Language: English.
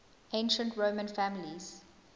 ancient roman families